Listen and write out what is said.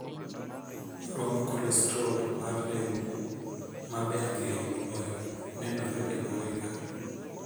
Romb kolestrol mar remo, maber ng'eyo moloyo, nenore e bwoye ka.